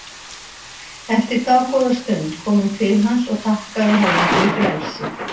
Eftir dágóða stund kom hún til hans og þakkaði honum fyrir frelsið.